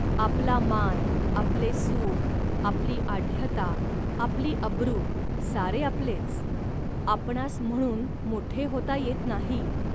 आपला मान, आपले सुख, आपली आढ्यता, आपली अब्रू, सारे आपलेच. आपणांस म्हणून मोठे होता येत नाही